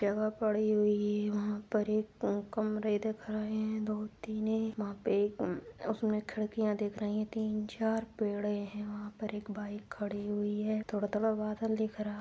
जगह पड़ी हुई है वहां पर एक दो कमरा दिख रहे हैं। दो तीन वहाँ पे म उसमें खिड़कियां दिख रहे है तीन- चार पेड़े हैं। वहां पर एक बाइक खड़ी हुई है। थोड़ा-थोड़ा बादल दिख रहा।